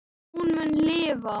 Hún mun lifa.